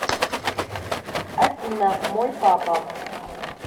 афина мой папа